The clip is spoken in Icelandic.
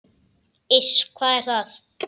Iss, hvað er það?